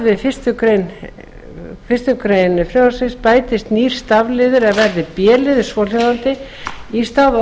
við fyrstu grein bætist nýr stafliður er verði b liður svohljóðandi í stað